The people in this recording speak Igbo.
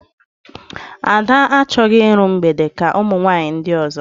Ada achọghị iru mgbede ka ụmụ nwaanyị ndị ọzọ